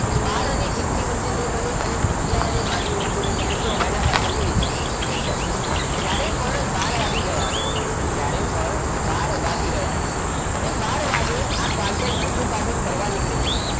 બાર અને એકની વચ્ચે નહીં બને અને આગયાર અને બાર ની વચ્ચે નહીં બને તો જુઓ એના પાછળનું રીઝલ્ટ simple જ્યારે પણ બાર વાગી ગયા હશે જ્યારે પણ બાર વાગી ગયા હશે હવે બાર વાગે આ કાંટો મોટો કાંટો ફરવા નીકળી ગયો